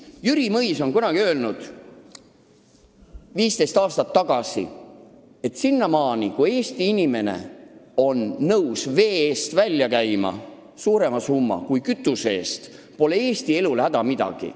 Jüri Mõis on kunagi 15 aastat tagasi öelnud, et kuni Eesti inimene on nõus vee eest välja käima suurema summa kui kütuse eest, pole Eesti elul häda midagi.